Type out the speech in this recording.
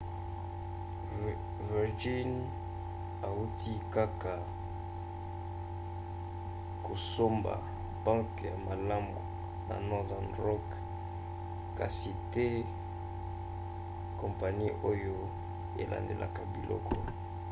virgin autaki kaka kosomba 'banke ya malamu' ya northern rock kasi te kompani oyo elandelaka biloko